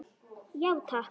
Já, takk.